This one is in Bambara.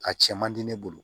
A cɛ man di ne bolo